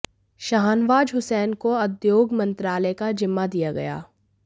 शाहनवाज हुसैन को उद्योग मंत्रालय का जिम्मा दिया गया